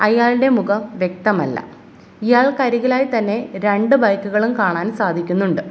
അയാളുടെ മുഖം വ്യക്തമല്ല ഇയാൾക്കരികിലായി തന്നെ രണ്ട് ബൈക്ക് കളും കാണാൻ സാധിക്കുന്നുണ്ട്.